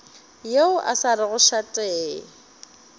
yo a sa rego šate